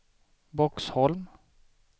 Boxholm